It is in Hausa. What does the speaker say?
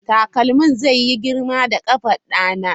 Takalmin zai yi girma da ƙafar ɗana.